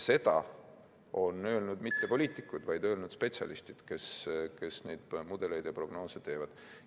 Seda ei ole öelnud mitte poliitikud, vaid spetsialistid, kes neid mudeleid ja prognoose teevad.